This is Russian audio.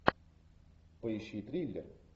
поищи триллер